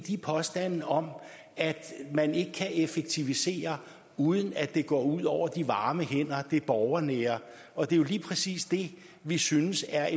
påstandene om at man ikke kan effektivisere uden at det går ud over de varme hænder og det borgernære og det er jo lige præcis det vi synes er